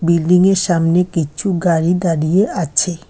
Building -য়ের সামনে কিছু গাড়ি দাঁড়িয়ে আছে।